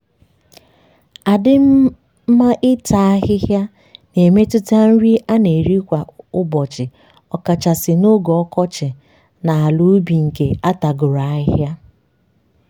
adịm mma ịta ahịhịa na-emetụta nri a na-eri kwa ụbọchị ọkachasị n'oge ọkọchị na ala ubi nke atagoro ahịhịa.